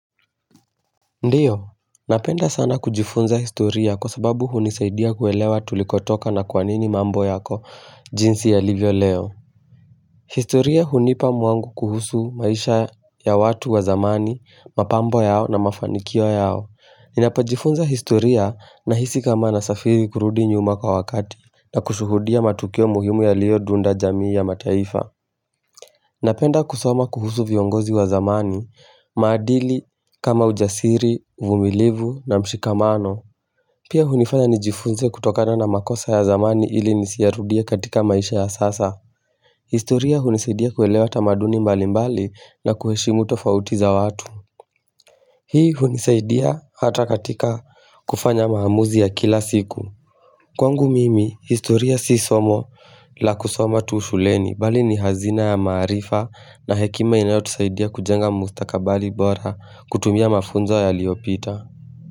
Ndiyo, napenda sana kujifunza historia kwa sababu hunisaidia kuelewa tulikotoka na kwanini mambo yako jinsi yalivyo leo. Historia hunipa mwangu kuhusu maisha ya watu wa zamani, mapambo yao na mafanikio yao. Ninapajifunza historia nahisi kama nasafiri kurudi nyuma kwa wakati na kushuhudia matukio muhimu yaliodunda jamii ya mataifa. Napenda kusoma kuhusu viongozi wa zamani, maadili kama ujasiri, uvumilivu na mshikamano. Pia hunifanya nijifunze kutokana na makosa ya zamani ili nisiyarudie katika maisha ya sasa. Historia hunisaidia kuelewa tamaduni mbali mbali na kuheshimu tofauti za watu. Hii hunisaidia hata katika kufanya maamuzi ya kila siku. Kwangu mimi, historia si somo la kusoma tu shuleni bali ni hazina ya maarifa na hekima inayotusaidia kujenga mustakabali bora kutumia mafunzo yaliyopita.